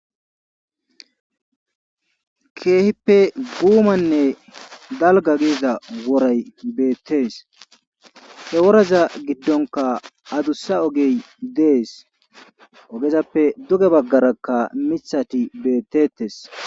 keehippe buumanne dalgga woray beettees he woraza giddonkka adussa ogey dees ogezappe duge baggarakka mithati beetteetes.